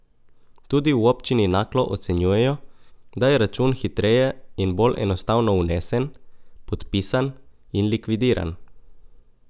Tudi v Občini Naklo ocenjujejo, da je račun hitreje in bolj enostavno unesen, podpisan in likvidiran.